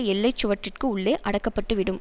எல்லை சுவற்றிற்கு உள்ளே அடக்கப்பட்டுவிடும்